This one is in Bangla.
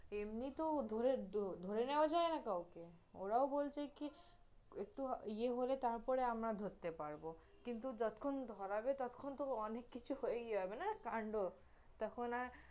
এমনি তহ ধরে, ধরে নেওয়া যায় না কাওকে, ওরাও বলছে কি, একটু ইয়ে হলে তারপরে আমরা ধরতে পারব কিন্তু যতক্ষণ ধরাবে ততক্ষণ তহ অনেক কিছু হয়ে যাবে না কাণ্ড, তখন আর